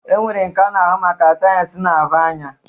E nwere nke na-ahụ maka sayensị na-ahụ anya.